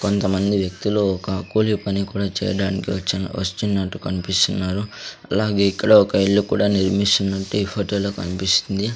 కొంతమంది వ్యక్తులు ఒక కూలి పని కూడా చేయడానికి వచ్చిన వచ్చినట్టు కన్పిస్తున్నారు అలాగే ఇక్కడ ఒక ఇల్లు కూడా నిర్మిస్తున్నట్టు ఈ ఫొటో లో కన్పిస్తుంది.